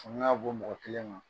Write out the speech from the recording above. fanga ka bon mɔgɔ kelen ma